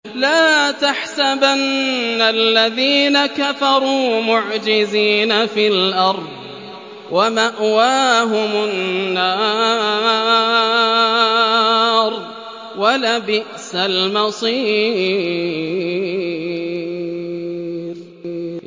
لَا تَحْسَبَنَّ الَّذِينَ كَفَرُوا مُعْجِزِينَ فِي الْأَرْضِ ۚ وَمَأْوَاهُمُ النَّارُ ۖ وَلَبِئْسَ الْمَصِيرُ